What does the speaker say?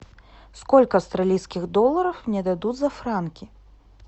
сколько австралийских долларов мне дадут за франки